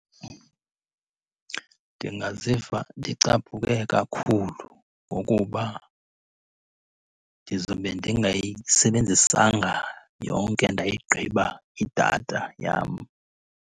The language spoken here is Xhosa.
Ndingaziva ndicaphuke kakhulu ngokuba ndizobe ndingayisebenzisanga yonke ndayigqiba idatha yam.